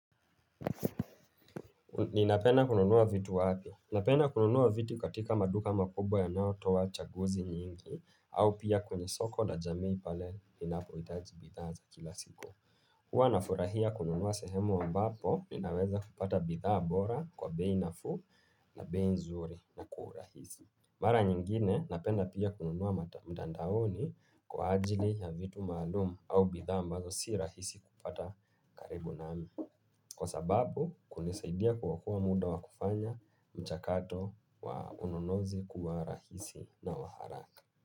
Ninapenda kununuwa vitu wapi. Ninapenda kununuwa vitu katika maduka makubwa yanayo toa chaguzi nyingi au pia kwenye soko la jamii pale linapo itajibidhaa za kila siku. Huwa nafurahia kununuwa sehemu ambapo, ninaweza kupata bidhaa bora kwa bei nafu na bei nzuri na kwa urahisi. Mara nyingine, napenda pia kununuwa mtandaoni kwa ajili ya vitu maalumu au bidhaa ambazo si rahisi kupata karibu nami. Kwa sababu, kunisaidia kuokoa muda wa kufanya mchakato wa ununuzi kuwa rahisi na waharaka.